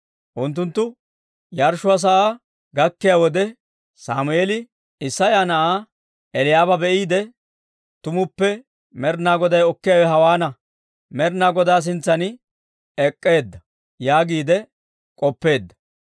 Unttunttu yarshshuwaa sa'aa gakkiyaa wode, Sammeeli Isseya na'aa Eli'aaba be'iide, «Tumuppe Med'inaa Goday okkiyaawe hawaan Med'inaa Godaa sintsan ek'k'eedda» yaagiide k'oppeedda.